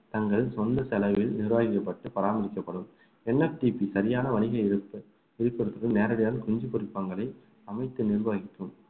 தங்கள் சொந்த செலவில் நிர்வகிக்கப்பட்டு பராமரிக்கப்படும் NFDP சரியான வணிக இழப்பு விழுப்புரத்துக்கு நேரடியாக குஞ்சு பொரிப்பகங்களை அமைத்து நிர்வாகிக்கும்